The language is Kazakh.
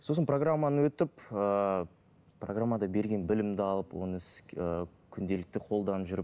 сосын программаны өтіп ыыы программада берген білімді алып оны ыыы күнделікті қолданып жүріп